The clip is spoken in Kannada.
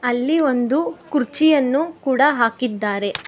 ಅಲ್ಲಿ ಒಂದು ಕುರ್ಚಿಯನ್ನು ಕೂಡ ಹಾಕಿದ್ದಾರೆ.